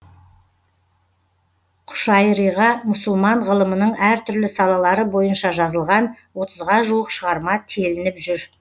құшайриға мұсылман ғылымының әр түрлі салалары бойынша жазылған отызға жуық шығарма телініп жүр